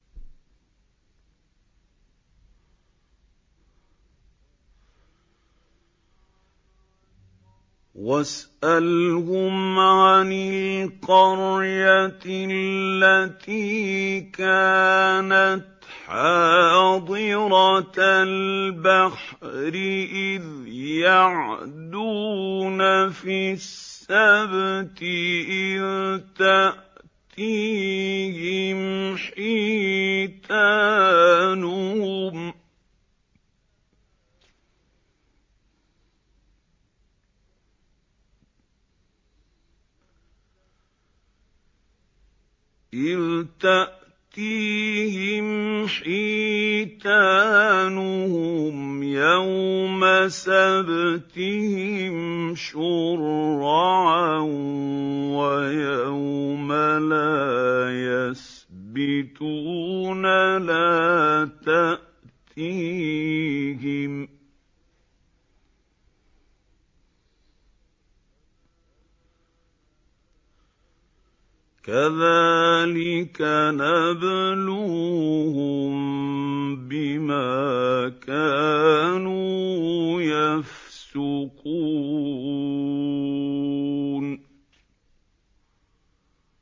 وَاسْأَلْهُمْ عَنِ الْقَرْيَةِ الَّتِي كَانَتْ حَاضِرَةَ الْبَحْرِ إِذْ يَعْدُونَ فِي السَّبْتِ إِذْ تَأْتِيهِمْ حِيتَانُهُمْ يَوْمَ سَبْتِهِمْ شُرَّعًا وَيَوْمَ لَا يَسْبِتُونَ ۙ لَا تَأْتِيهِمْ ۚ كَذَٰلِكَ نَبْلُوهُم بِمَا كَانُوا يَفْسُقُونَ